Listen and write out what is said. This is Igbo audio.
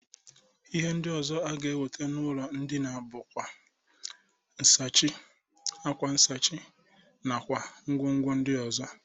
Ihe ndị ọzọ aga enwete n'ụlọ ndịna bụ akwa, ncheisi, akwa nsachi nakwa ngwongwo ndị ọzọ.